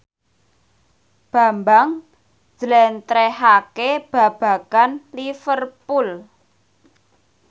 Bambang njlentrehake babagan Liverpool